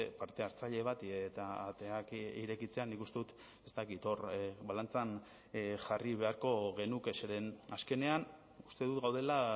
parte hartzaile bati eta ateak irekitzea nik uste dut ez dakit hor balantzan jarri beharko genuke zeren azkenean uste dut gaudela